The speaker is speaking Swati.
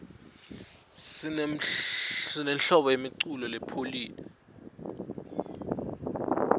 sinenhlobo yemiculo lopholile